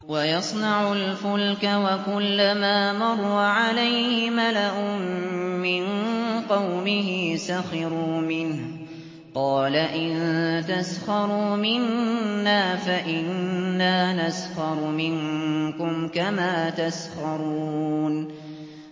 وَيَصْنَعُ الْفُلْكَ وَكُلَّمَا مَرَّ عَلَيْهِ مَلَأٌ مِّن قَوْمِهِ سَخِرُوا مِنْهُ ۚ قَالَ إِن تَسْخَرُوا مِنَّا فَإِنَّا نَسْخَرُ مِنكُمْ كَمَا تَسْخَرُونَ